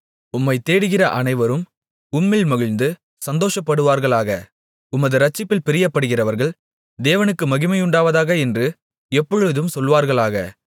உம்மைத் தேடுகிற அனைவரும் உம்மில் மகிழ்ந்து சந்தோஷப்படுவார்களாக உமது இரட்சிப்பில் பிரியப்படுகிறவர்கள் தேவனுக்கு மகிமையுண்டாவதாக என்று எப்பொழுதும் சொல்வார்களாக